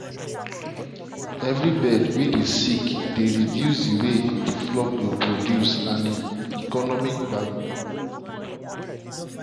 every bird way dey sick dey reduce the way the flock go produce and e economic value.